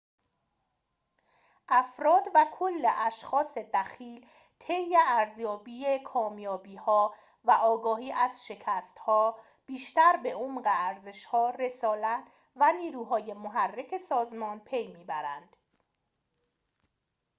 افراد و کل اشخاص دخیل طی ارزیابی کامیابی‌ها و آگاهی از شکست‌ها بیشتر به عمق ارزش‌ها رسالت و نیروهای محرک سازمان پی می‌برند